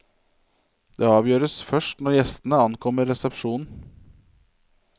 Det avgjøres først når gjestene ankommer resepsjonen.